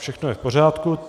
Všechno je v pořádku.